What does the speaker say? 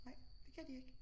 Nej det kan de ikke